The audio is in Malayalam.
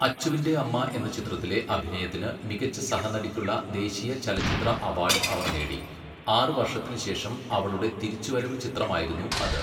അച്ചുവിന്റെ അമ്മ എന്ന ചിത്രത്തിലെ അഭിനയത്തിന് മികച്ച സഹനടിക്കുള്ള ദേശീയ ചലച്ചിത്ര അവാർഡ് അവർ നേടി, ആറ് വർഷത്തിന് ശേഷം അവളുടെ തിരിച്ചുവരവ് ചിത്രമായിരുന്നു അത്.